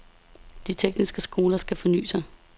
De tekniske skoler skal fornye sig.